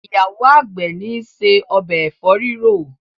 ìyàwó àgbè ni ṣe Ọbẹ̀ efo rirọ.